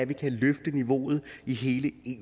løfte niveauet i hele